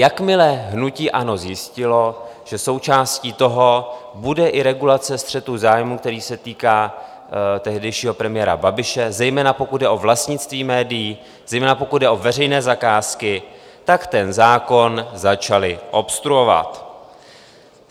Jakmile hnutí ANO zjistilo, že součástí toho bude i regulace střetu zájmů, který se týká tehdejšího premiéra Babiše, zejména pokud jde o vlastnictví médií, zejména pokud jde o veřejné zakázky, tak ten zákon začali obstruovat.